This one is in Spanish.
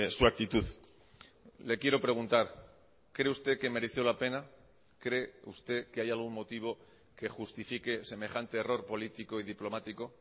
su actitud le quiero preguntar cree usted que mereció la pena cree usted que hay algún motivo que justifique semejante error político y diplomático